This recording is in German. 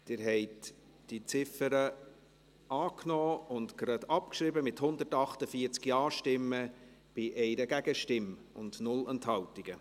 Sie haben diese Ziffer angenommen und zugleich abgeschrieben, mit 148 Ja-Stimmen bei 1 Gegenstimme und 0 Enthaltungen.